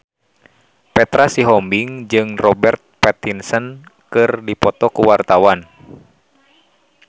Petra Sihombing jeung Robert Pattinson keur dipoto ku wartawan